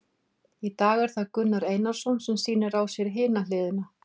Í dag er það Gunnar Einarsson sem að sýnir á sér hina hliðina.